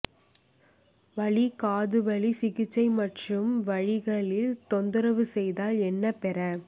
வலி காதுவலி சிகிச்சை மற்றும் வழிகளில் தொந்தரவு செய்தால் என்ன பெற